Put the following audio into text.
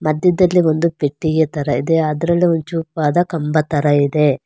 ಮಧ್ಯದಲ್ಲಿ ಒಂದು ಪೆಟ್ಟಿಗೆ ತರ ಇದೆ ಅದ್ರಲ್ಲಿ ಒಂದ್ ಚೂಪಾದ ಕಂಬ ತರ ಇದೆ.